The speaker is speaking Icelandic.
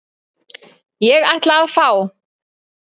Ég ætla að fá.